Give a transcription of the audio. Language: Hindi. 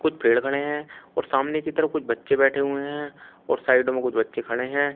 पेड़ खड़े हैं और सामने की तरफ कुछ बच्चे बैठे हुए हैं और साइडों में कुछ बच्चे खड़े हैं।